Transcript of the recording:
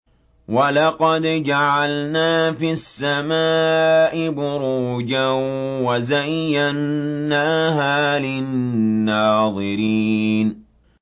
وَلَقَدْ جَعَلْنَا فِي السَّمَاءِ بُرُوجًا وَزَيَّنَّاهَا لِلنَّاظِرِينَ